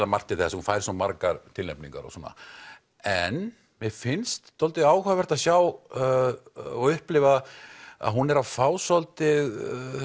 margt til þess hún fær svo margar tilnefningar og svona en mér finnst dálítið áhugavert að sjá og upplifa að hún er fá svolítið